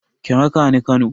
Ki raka ni Kano.